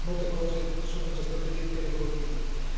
Molte cose sono già state dette e le condivido.